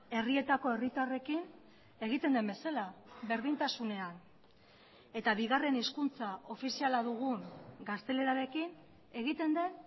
herrietako herritarrekin egiten den bezala berdintasunean eta bigarren hizkuntza ofiziala dugun gaztelerarekin egiten den